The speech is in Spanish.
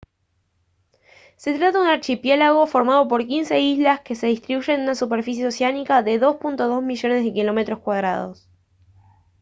se trata de un archipiélago formado por 15 islas que se distribuyen en una superficie oceánica de 2.2 millones de km2